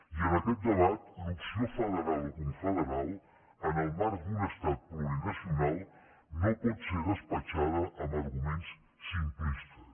i en aquest debat l’opció federal o confederal en el marc d’un estat plurinacional no pot ser despatxada amb arguments simplistes